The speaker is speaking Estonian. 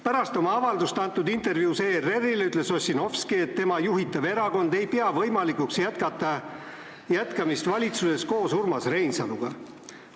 Pärast oma avaldust intervjuus ERR-ile ütles Ossinovski, et tema juhitav erakond ei pea võimalikuks valitsuses jätkamist koos Urmas Reinsaluga.